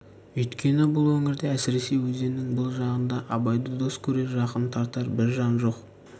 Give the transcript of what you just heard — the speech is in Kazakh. үйткені бұл өңірде әсіресе өзеннің бұл жағында абайды дос көрер жақын тартар бір жан жоқ